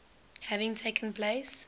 having taken place